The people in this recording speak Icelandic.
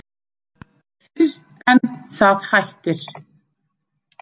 Fyrr en það hættir.